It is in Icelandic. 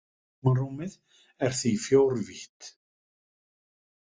Tímarúmið er því fjórvítt.